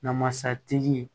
Namasatigi